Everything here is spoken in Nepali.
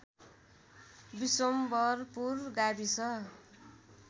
विशम्भरपुर गाविस